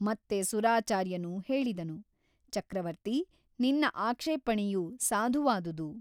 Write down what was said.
ಮತ್ತೆ ಸುರಾಚಾರ್ಯನು ಹೇಳಿದನು ಚಕ್ರವರ್ತಿ ನಿನ್ನ ಆಕ್ಷೇಪಣೆಯು ಸಾಧುವಾದುದು.